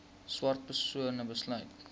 swart persone besit